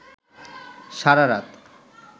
সারারাত